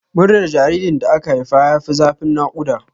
Murnar jaririn da aka haifa ya fi zafin naƙuda.